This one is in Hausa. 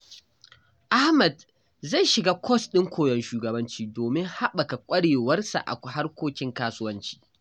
Ahmad zai shiga kwas ɗin koyon shugabanci domin haɓaka ƙwarewarsa a harkokin kasuwanci.